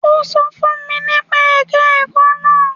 Ó sọ fún mi nípa ẹ̀ka ẹ̀kọ́ náà.